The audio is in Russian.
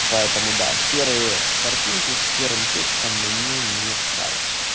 поэтому да серые картинки с серым текстом мне не в кайф